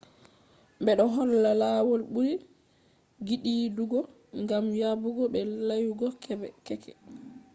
bedo holla lawol buri gidiidugo gam yabugo be layugo keke